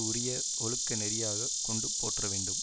உரிய ஒழுக்க நெறியாக கொண்டு போற்ற வேண்டும்